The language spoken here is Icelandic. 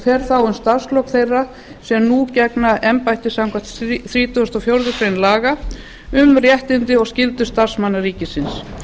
fer þá um starfslok þeirra sem nú gegna embætti samkvæmt þrítugustu og fjórðu grein laga um réttindi og skyldur starfsmanna ríkisins